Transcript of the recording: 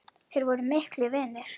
Þeir voru miklir vinir.